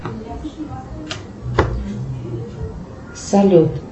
салют